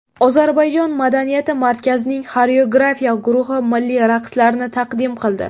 Ozarbayjon madaniyati markazining xoreografiya guruhi milliy raqslarni taqdim qildi.